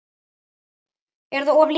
Er það of lítið?